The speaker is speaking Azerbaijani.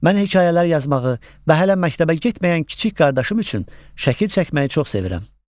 Mən hekayələr yazmağı və hələ məktəbə getməyən kiçik qardaşım üçün şəkil çəkməyi çox sevirəm.